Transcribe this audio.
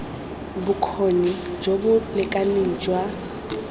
bokgoni jo bo lekaneng jwa